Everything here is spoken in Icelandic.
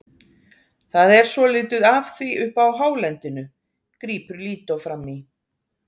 Það er svolítið af því uppi á hálendinu, grípur Lídó fram í.